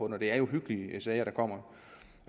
det er uhyggelige sager og